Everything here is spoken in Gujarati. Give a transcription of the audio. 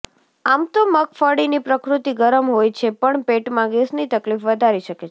આમ તો મગફળીની પ્રકૃતિ ગરમ હોય છે પણ પેટમાં ગેસની તકલીફ વધારી શકે છે